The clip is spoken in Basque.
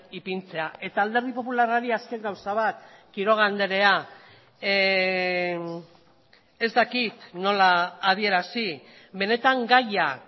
ipintzea eta alderdi popularrari azken gauza bat quiroga andrea ez dakit nola adierazi benetan gaia